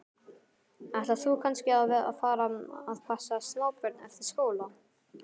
Ætlar þú kannski að fara að passa smábörn eftir skóla?